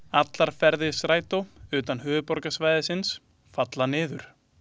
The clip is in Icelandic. Allir ferðir Strætó utan höfuðborgarsvæðisins falla niður.